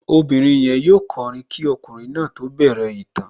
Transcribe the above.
Obìnrin yẹn yóò kọrin kí ọkùnrin náà tó bẹ̀rẹ̀ ìtàn